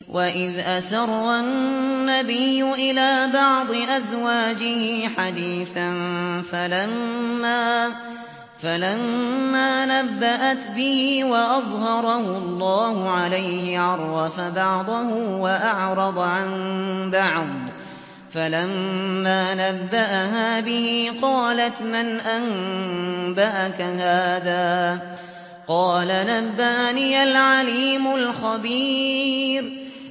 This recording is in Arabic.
وَإِذْ أَسَرَّ النَّبِيُّ إِلَىٰ بَعْضِ أَزْوَاجِهِ حَدِيثًا فَلَمَّا نَبَّأَتْ بِهِ وَأَظْهَرَهُ اللَّهُ عَلَيْهِ عَرَّفَ بَعْضَهُ وَأَعْرَضَ عَن بَعْضٍ ۖ فَلَمَّا نَبَّأَهَا بِهِ قَالَتْ مَنْ أَنبَأَكَ هَٰذَا ۖ قَالَ نَبَّأَنِيَ الْعَلِيمُ الْخَبِيرُ